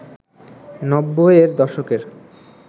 ৯০-এর দশকের